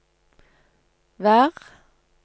vær